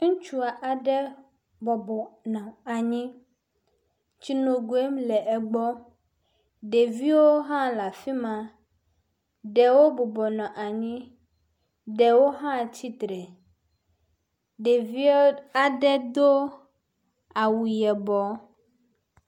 Ŋutsu aɖe bɔbɔnɔ anyi. Tsinogui le egbɔ. Ɖeviwo hã le afi ma. Ɖewo bɔbɔnɔ anyi. Ɖewo hã atsitre, ɖewo aɖe do awu yibɔ.